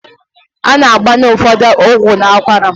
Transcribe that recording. A na-agbanye ụfọdụ ọgwụ n'akwara.